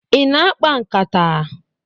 Ị na-akpa nkata?